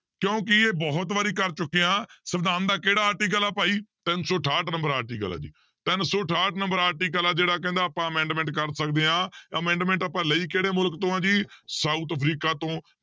ਕਿਉਂਕਿ ਇਹ ਬਹੁਤ ਵਾਰੀ ਕਰ ਚੁੱਕੇ ਹਾਂ ਸਵਿਧਾਨ ਦਾ ਕਿਹੜਾ article ਆ ਭਾਈ ਤਿੰਨ ਸੌ ਅਠਾਹਠ number article ਹੈ ਜੀ, ਤਿੰਨ ਸੌ ਅਠਾਹਠ number article ਆ ਜਿਹੜਾ ਕਹਿੰਦਾ ਆਪਾਂ amendment ਕਰ ਸਕਦੇ ਹਾਂ amendment ਆਪਾਂ ਲਈ ਕਿਹੜੇ ਮੁਲਕ ਤੋਂ ਆ ਜੀ south ਅਫ਼ਰੀਕਾ ਤੋਂ